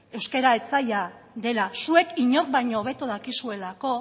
euskara etsaia dela zuek inork baino hobeto dakizuelako